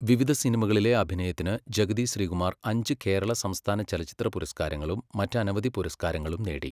വിവിധ സിനിമകളിലെ അഭിനയത്തിന് ജഗതി ശ്രീകുമാർ അഞ്ച് കേരള സംസ്ഥാന ചലച്ചിത്ര പുരസ്കാരങ്ങളും മറ്റനവധി പുരസ്കാരങ്ങളും നേടി.